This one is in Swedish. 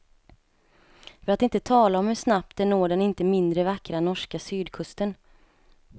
För att inte tala om hur snabbt det når den inte mindre vackra norska sydkusten.